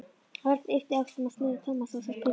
Örn yppti öxlum og smurði tómatsósu á pylsu.